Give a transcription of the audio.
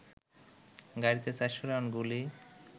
গাড়িতে ৪০০ রাউন্ড গুলি